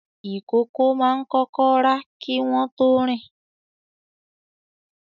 ìkókó máa ń kọ́kọ́ rà kí wọ́n tó rìn.